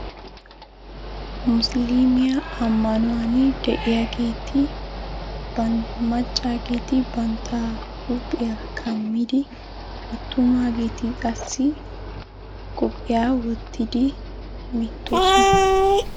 Musiliimme ammanuwani de'iyaageeti maccaageeti banta huuphiya kammidi attumaageeti qassi bantta qophiya wottidi hemettoosona.